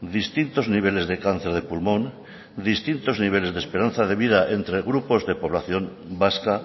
distintos niveles de cáncer de pulmón distintos niveles de esperanza de vida entre grupos de población vasca